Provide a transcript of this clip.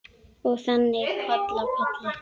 Og þannig koll af kolli.